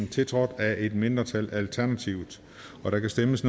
tiltrådt af et mindretal og der kan stemmes